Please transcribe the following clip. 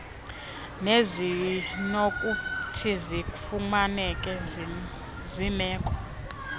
nezinokuthi zifunyanwe zimeko